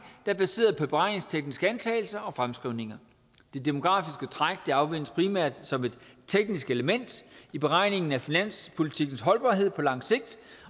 er baseret på beregningstekniske antagelser og fremskrivninger det demografiske træk anvendes primært som et teknisk element i beregningen af finanspolitikkens holdbarhed på lang sigt